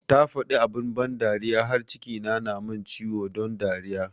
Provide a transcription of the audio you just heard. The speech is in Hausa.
Ta faɗi abun ban dariya da yawa har cikina na mun ciwo don dariya